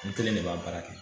N kelen de b'a baara kɛ